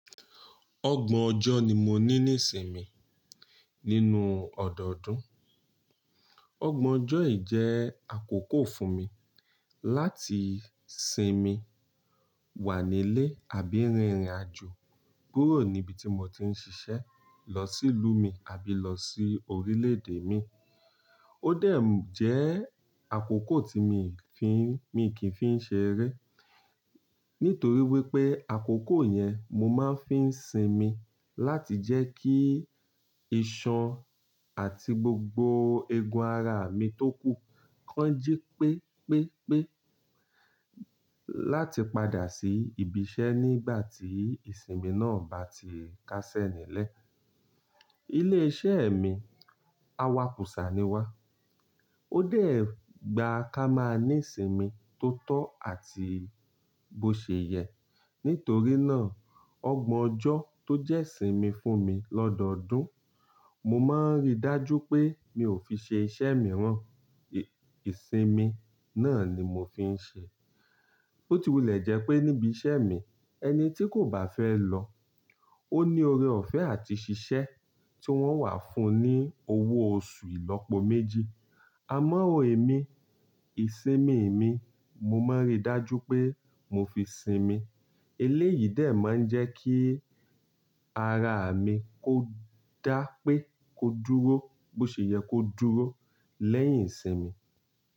Ọgbọ̀n ọjọ́ ni mo ní ní ìsinmi nínú ọ̀dọ̀ọdún. Ọgbọ̀n ọjọ́ yìí jẹ́ àkókò fún mi láti sinmi, wà nílé àbí rìnrìn àjò kúrò níbi tí mo ti ń ṣiṣẹ́ lọ sílú mi àbí lọ sí orílẹ̀-èdè mi. Ó dẹ̀ jẹ́ àkókò tí mi fín, mi kì í fi ń ṣe eré. Nítorí wípé àkókò yẹn mo máa ń fi ń sinmi láti jẹ́ kí ìṣàn àti gbogbo eegun ara mi tó kú kán jí pépépé láti padà sí ibi iṣẹ́ nígbà tí ìsinmi náà bá ti kásẹ̀ nílẹ̀. Ilé iṣẹ́ mi, awakùsà ni wá. Ó dẹ̀ gbà ká máa ní ìsinmi tó tó àti bó ṣe yẹ. Nítorí náà, ọgbọ̀n ọjọ́ tó jẹ́ ìsinmi fún mi lọ́dọọdún, mo máa ń rí dájú pé mi ò fi ṣe iṣẹ́ mìíràn. Ìsinmi náà ni mo fi ń ṣe. Bó ti wulẹ̀ jẹ́ pé níbi iṣẹ́ mi ẹni tí kò bá fẹ́ lọ, ó ní oore ọ̀fẹ́ àti ṣiṣẹ́ tí wọ́n wà fún un ní owó oṣù ìlọ́po méjì. Àmọ́ èmi, ìsinmi mi mo máa ń rí dájú pé mo fi sinmi. Eléyìí dẹ̀ máa ń jẹ́ kí ara mi kó dá pé kó dúró, bó ṣe yẹ kó dúró lẹ́yìn ìsinmi.